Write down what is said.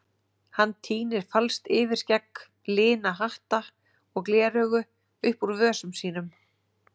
Hann tínir falskt yfirskegg, lina hatta og gleraugu upp úr vösum sínum.